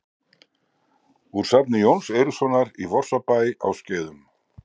Úr safni Jóns Eiríkssonar í Vorsabæ á Skeiðum.